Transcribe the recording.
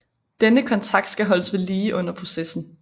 Denne kontakt skal holdes ved lige under processen